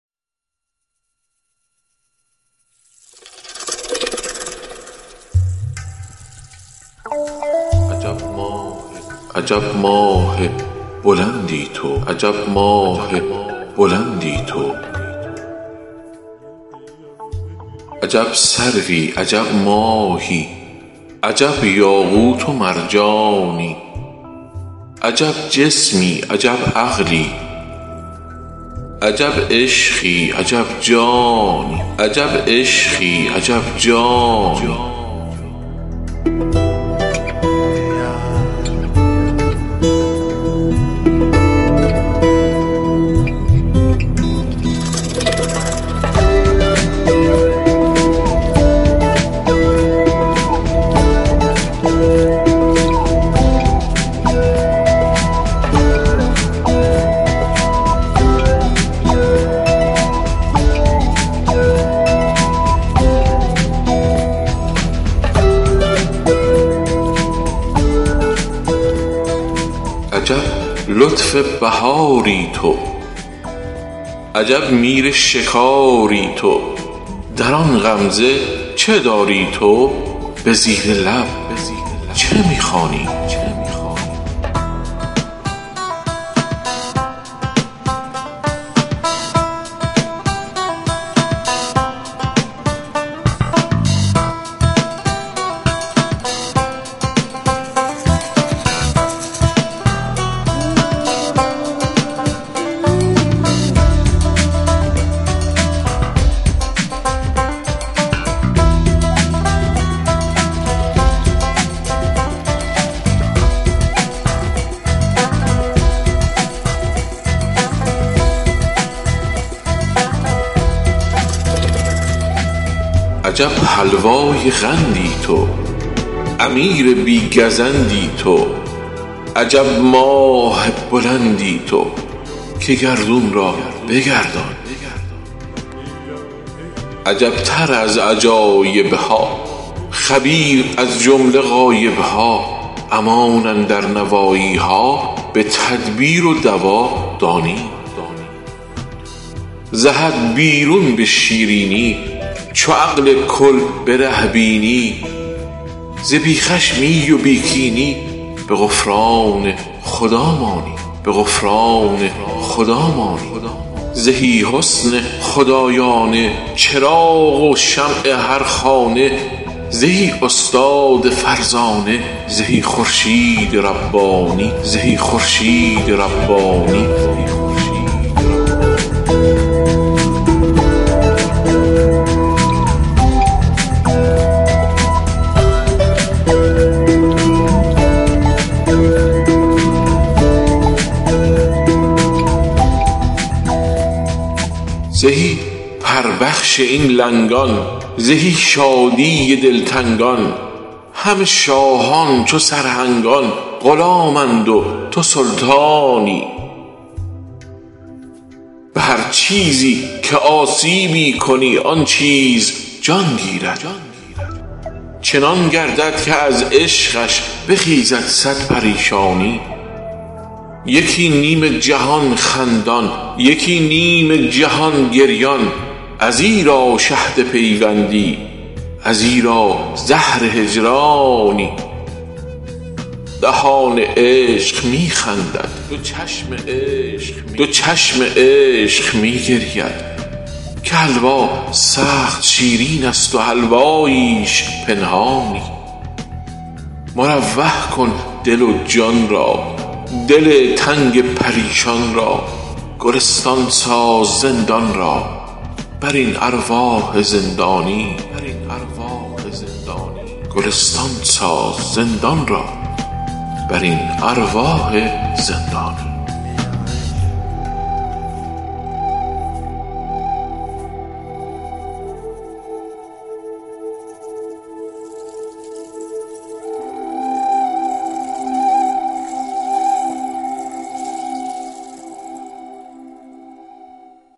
عجب سروی عجب ماهی عجب یاقوت و مرجانی عجب جسمی عجب عقلی عجب عشقی عجب جانی عجب لطف بهاری تو عجب میر شکاری تو دران غمزه چه داری تو به زیر لب چه می خوانی عجب حلوای قندی تو امیر بی گزندی تو عجب ماه بلندی تو که گردون را بگردانی عجبتر از عجایبها خبیر از جمله غایبها امان اندر نواییها به تدبیر و دوا دانی ز حد بیرون به شیرینی چو عقل کل بره بینی ز بی خشمی و بی کینی به غفران خدا مانی زهی حسن خدایانه چراغ و شمع هر خانه زهی استاد فرزانه زهی خورشید ربانی زهی پربخش این لنگان زهی شادی دلتنگان همه شاهان چو سرهنگان غلامند و توسلطانی به هر چیزی که آسیبی کنی آن چیز جان گیرد چنان گردد که از عشقش بخیزد صد پریشانی یکی نیم جهان خندان یکی نیم جهان گریان ازیرا شهد پیوندی ازیرا زهر هجرانی دهان عشق می خندد دو چشم عشق می گرید که حلوا سخت شیرینست و حلواییش پنهانی مروح کن دل و جان را دل تنگ پریشان را گلستان ساز زندان را برین ارواح زندانی بدین مفتاح کآوردم گشاده گر نشد مخزن کلیدی دیگرش سازم به ترجیعش کنم روشن توی پای علم جانا به لشکرگاه زیبایی که سلطان السلاطینی و خوبان جمله طغرایی حلاوت را تو بنیادی که خوان عشق بنهادی کی سازد اینچنین حلوا جز آن استاد حلوایی جهان را گر بسوزانی فلک را گر بریزانی جهان راضیست و می داند که صد لونش بیارایی شکفته ست این زمان گردون به ریحانهای گوناگون زمین کف در حنی دارد بدان شادی که می آیی بیا پهلوی من بنشین که خندیم از طرب پیشین که کان لذت و شادی گرفت انوار بخشایی به اقبال چنین گلشن بیاید نقد خندیدن تو خندان روتری یا من کی باشم من تو مولایی توی گلشن منم بلبل تو حاصل بنده لایحصل بیا کافتاد صد غلغل به پستی و به بالایی توی کامل منم ناقص توی خالص منم مخلص توی سور و منم راقص من اسفل تو معلایی چو تو آیی بنامیزد دوی از پیش برخیزد تصرفها فرو ریزد به مستی و به شیدایی تو ما باشی مها ما تو ندانم که منم یا تو شکر هم تو شکر خا تو بخا که خوش همی خایی وفادارست میعادت توقف نیست در دادت عطا و بخشش شادت نه نسیه ست و نه فردایی به ترجیع سوم یارا مشرف کن دل ما را بگردان جام صهبا را یکی کن جمله دلها را سلام علیک ای دهقان در آن انبان چها داری چنین تنها چه می گردی درین صحرا چه می کاری زهی سلطان زیبا خد که هرکه روی تو بیند اگر کوه احد باشد بپرد از سبکساری مرا گویی چه می گویی حدیث لطف و خوش خویی دل مهمان خود جویی سر مستان خود خاری ایا ساقی قدوسی گهی آیی به جاسوسی گهی رنجور را پرسی گهی انگور افشاری گهی دامن براندازی که بر تردامنان سازی گهی زینها بپردازی کی داند در چه بازاری سلام علیک هر ساعت بر آن قد و بر آن قامت بر آن دیدار چون ماهت بر آن یغمای هشیاری سلام علیک مشتاقان بر آن سلطان بر آن خاقان سلام علیک بی پایان بر آن کرسی جباری چه شاهست آن چه شاهست آن که شادی سپاهست آن چه ماهست آن چه ماهست آن برین ایوان زنگاری تو مهمانان نو را بین برو دیگی بنه زرین بپز گر پروری داری وگر خرگوش کهساری وگر نبود این و آن برو خود را بکن قربان وگر قربان نگردی تو یقین می دان که مرداری خمش باش و فسون کم خوان نداری لذت مستان چرایی بی نمک ای جان نه همسایه نمکساری رسیدم در بیابانی کزو رویند هستیها فرو بارد جزین مستی از آن اطراف مستیها